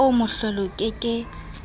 oo mohlolo o ke ke